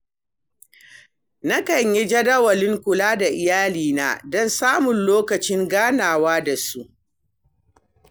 Nakan yi jadawalin kula da iyalina don samun lokacin ganawa da su.